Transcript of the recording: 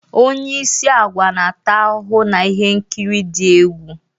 Onye isi agwa na-ata ahụhụ na ihe nkiri dị egwu